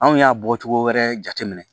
Anw y'a bɔcogo wɛrɛ jateminɛ